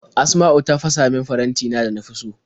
Asma'u ta fasa min farantina da na fi so.